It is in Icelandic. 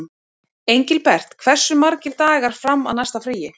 Engilbert, hversu margir dagar fram að næsta fríi?